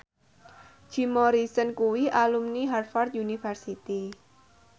Jim Morrison kuwi alumni Harvard university